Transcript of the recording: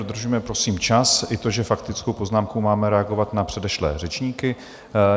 Dodržujme prosím čas i to, že faktickou poznámkou máme reagovat na předešlé řečníky.